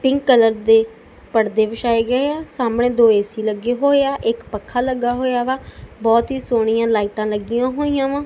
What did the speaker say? Pink colour ਦੇ ਪੜਦੇ ਵਿਛਾਏ ਗਏ ਆ ਸਾਹਮਣੇ ਦੋ ਏਸੀ ਲੱਗੇ ਹੋਏ ਆ ਇੱਕ ਪੱਖਾ ਲੱਗਾ ਹੋਇਆ ਵਾ ਬਹੁਤ ਹੀ ਸੋਹਣੀਆਂ ਲਾਈਟਾਂ ਲੱਗੀਆਂ ਹੋਈਆਂ ਵਾ।